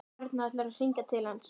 Örn ætlar að hringja til hans.